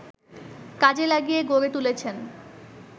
কাজে লাগিয়ে গড়ে তুলেছেন